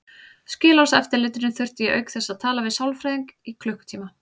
Skilorðseftirlitinu þurfti ég auk þess að tala við sálfræðing í klukkutíma.